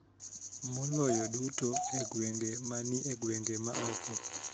Maloyo duto e gwenge ma ni e gwenge ma oko.